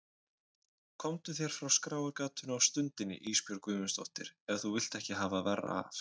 Komdu þér frá skráargatinu á stundinni Ísbjörg Guðmundsdóttir ef þú vilt ekki hafa verra af.